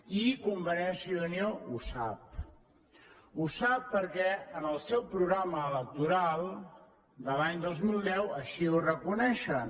i convergència i unió ho sap ho sap perquè en el seu programa electoral de l’any dos mil deu així ho reconeixen